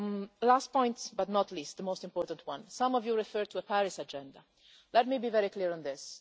Libya. The last point but not the least, the most important one. Some of you referred to a Paris agenda let me be very clear on